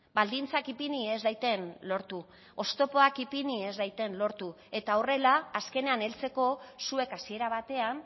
baldintzak ipini ez daiten lortu oztopoak ipini ez daiten lortu eta horrela azkenean heltzeko zuek hasiera batean